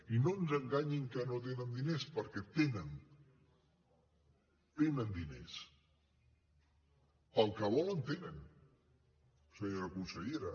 i no ens enganyin que no tenen diners perquè tenen diners per al que volen en tenen senyora consellera